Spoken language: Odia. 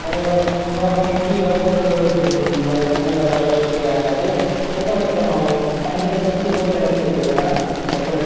ମନେକର ନ କମି କି over ବୋଲେ କମେଇ ବାର ପରିସ୍ଥିତି ଆସିଲା ହେଲେ ସେତେବେଳେ କଣ ହବ ତାଙ୍କେ ତ ସେତକି ball ରେ ଆଗା ଖେଳିଥିବେ ନା opponent